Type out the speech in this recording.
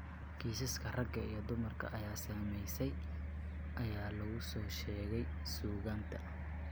Kiisaska rag iyo dumar ay saamaysay ayaa lagu soo sheegay suugaanta.